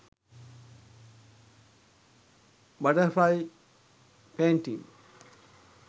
butterfly painting